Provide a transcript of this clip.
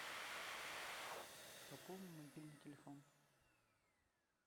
пополни мобильный телефон